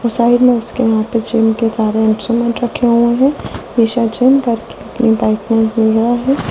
Side में उसके यहां पे जिम के सारे इंस्ट्रूमेंट रखे हुए हैं मिशा जीम करके बाइक में घूम रहा है।